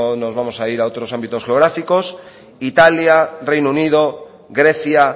no nos vamos a ir a otros ámbitos geográficos italia reino unido grecia